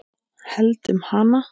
Held um hana.